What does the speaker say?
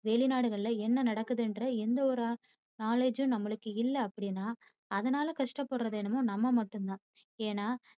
வெளிநாடுகளில என்ன நடக்குதுங்கிற எந்த ஒரு knowledge யும் நம்மளுக்கு இல்ல அப்படினா அதனால கஷ்டப்படுறது என்னவோ நம்ம மட்டும் தான். ஏன்னா